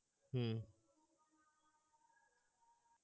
হম